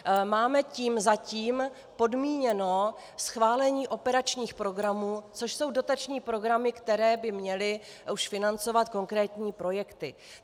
Máme tím zatím podmíněno schválení operačních programů, což jsou dotační programy, které by měly už financovat konkrétní projekty.